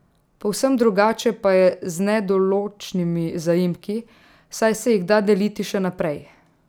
Povsem drugače pa je z nedoločnimi zaimki, saj se jih da deliti še naprej.